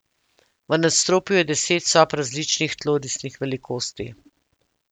V nadstropju je deset sob različnih tlorisnih velikosti.